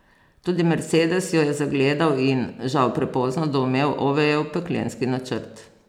Tudi mercedes jo je zagledal in, žal prepozno, doumel Ovejev peklenski načrt.